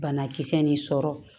Banakisɛ nin sɔrɔ